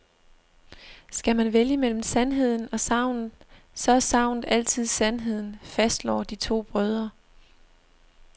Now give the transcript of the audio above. Skal man vælge mellem sandheden og sagnet, så er sagnet altid sandheden, fastslår de to brødre.